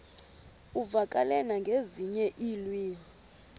uvakale nangezinye iilwimi